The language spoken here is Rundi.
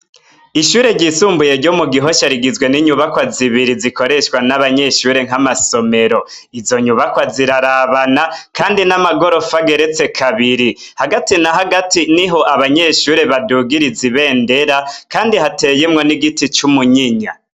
Ishure ryisumbuye ryo mu gihosha rigizwe n'inyubakwa zibiri zikoreshwa n'abanyeshure nk'amasomero, izo nyubakwa zirarabana kandi n'amagorofa ageretse kabiri hagati na hagati niho abanyeshure badugiriza ibendera kandi hateyemwo n'igiti c'umunyinya.